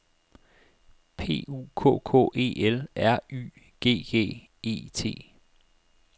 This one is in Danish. P U K K E L R Y G G E T